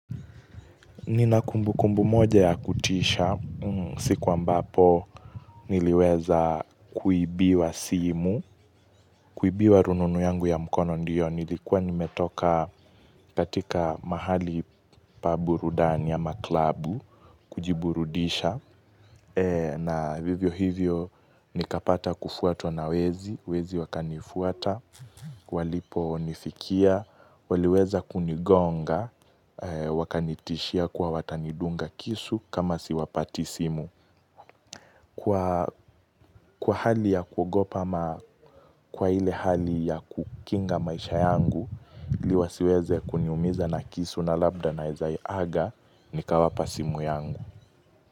Ninakumbu kumbu moja ya kutisha, siku ambapo niliweza kuibiwa simu, kuibiwa rununu yangu ya mkono ndiyo, nilikuwa nimetoka katika mahali paburudani ama klabu, kujiburudisha. Na vivyo hivyo nikapata kufuatwa na wezi Wezi wakani fuata Walipo nifikia waliweza kunigonga Wakanitishia kwa watanidunga kisu kama siwapati simu Kwa hali ya kugopa ama Kwa hile hali ya kukinga maisha yangu iLiwasiweze kuniumiza na kisu na labda na ezai aga Nikawapa simu yangu.